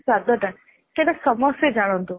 ସ୍ଵାଦ ଟା ସେଇଟା ସମସ୍ତେ ଜାଣନ୍ତୁ